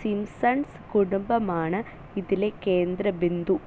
Simpson's കുടുംബമാണ് ഇതിലെ കേന്ദ്രബിന്ദു.